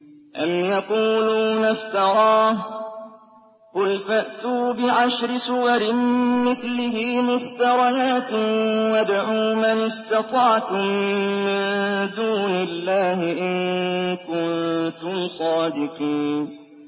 أَمْ يَقُولُونَ افْتَرَاهُ ۖ قُلْ فَأْتُوا بِعَشْرِ سُوَرٍ مِّثْلِهِ مُفْتَرَيَاتٍ وَادْعُوا مَنِ اسْتَطَعْتُم مِّن دُونِ اللَّهِ إِن كُنتُمْ صَادِقِينَ